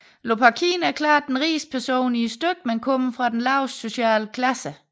Lopakhin er klart den rigeste person i stykket men kommer fra den laveste sociale klasse